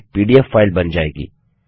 एक PDF file बन जाएगी